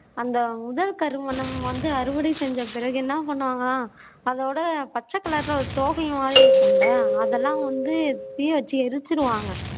அந்த முதல் கருவணம் வந்து அறுவடை செஞ்ச பிறகு என்ன பண்ணுவாங்க அதோட பச்ச கலர்ல ஒரு மாதி இருக்கும்ல அதெல்லாம் வந்து எரிச்சிடுவாங்க